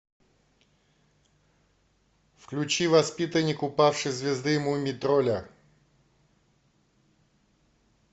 включи воспитанник упавшей звезды мумий тролля